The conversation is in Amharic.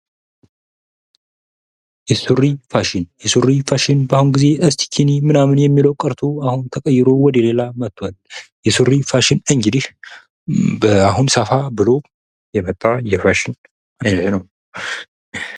ሱሪ ፋሽን በአሁኑ ጊዜ እስቲኪና ምናምን የሚለው ቀርቶ አሁን ተቀይሮ ወደ ሌላ መጡዋል የሱሪ ፋሽን እንግዲህ አሁን ሰፋ ብሎ የመጣ የፋሽን አይነት ነው።